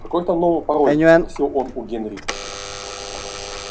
какой там новый пароль спросил он у генрри